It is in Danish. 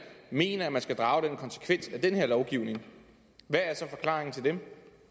mener at man skal drage den konsekvens af den her lovgivning hvad er så forklaringen til dem